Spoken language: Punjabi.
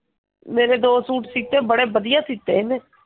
ਮੇਰੇ ਦੋ ਸੂਟ ਸੀਟ ਬੜੇ ਵਧੀਆ ਸੀਤੇ ਇਹਨੇ।